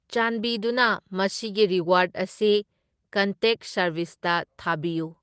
ꯆꯥꯟꯕꯤꯗꯨꯅ ꯃꯁꯤꯒꯤ ꯔꯤꯋꯥꯔꯗ ꯑꯁꯤ ꯀꯟꯇꯦꯛ ꯁꯥꯔꯕꯤꯁꯇ ꯊꯥꯕꯤꯌꯨ꯫